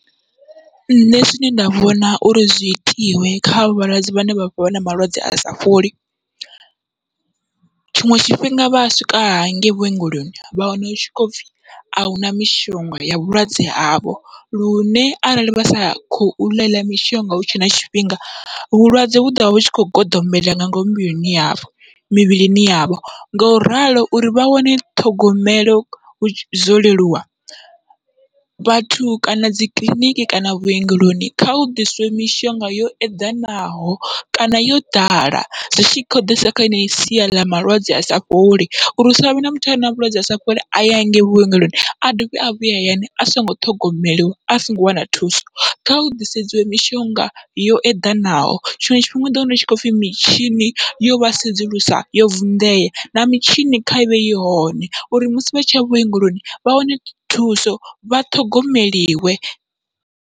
Nṋe zwine nda vhona uri zwi itiwe kha avho vhalwadze vhane vha vha vha na malwadze asa fholi, tshiṅwe tshifhinga vha a swika hangei vhuongeloni vha wana hu tshi khou pfhi ahuna mishonga ya vhulwadze havho lune arali vha sa khou ḽa heiḽa mishonga hutshe na tshifhinga, vhulwadze vhu ḓovha hutshi kho goḓombela nga ngomu mivhilini yavho mivhilini yavho. Ngauralo uri vha wane ṱhogomelo zwo leluwa, vhathu kana dzi kiḽiniki kana vhuongeloni kha hu ḓiswe mishonga yo eḓanaho kana yo ḓala zwi tshi khou ḓisa kha sia ḽa malwadze asa fholi uri hu savhe na muthu are na vhulwadze asa fholi aya hangei vhuongeloni a dovhe a vhuye hayani a songo ṱhogomeliwa a songo wana thuso kha hu ḓisedziwe mishonga yo eḓanaho, tshiṅwe tshifhinga uḓo wana hutshi khou pfhi mitshini yovha sedzulusa yo vunḓea na mitshini kha ivhe i hone uri musi vha tshiya vhuongeloni vha wane thuso vha ṱhogomeliwe.